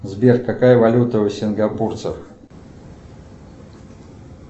сбер какая валюта у сингапурцев